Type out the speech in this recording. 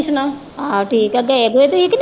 ਆਹ ਠੀਕ ਐ ਤੇ ਇਹਦੇ ਤੇ ਈ .